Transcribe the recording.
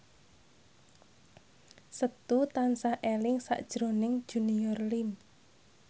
Setu tansah eling sakjroning Junior Liem